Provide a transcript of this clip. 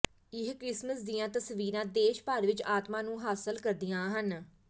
ਇਹ ਕ੍ਰਿਸਮਸ ਦੀਆਂ ਤਸਵੀਰਾਂ ਦੇਸ਼ ਭਰ ਵਿੱਚ ਆਤਮਾ ਨੂੰ ਹਾਸਲ ਕਰਦੀਆਂ ਹਨ